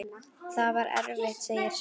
Það var erfitt, segir sagan.